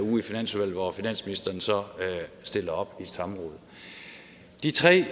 her uge i finansudvalget hvor finansministeren så stiller op i samråd de tre